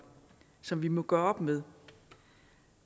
som vi må gøre op med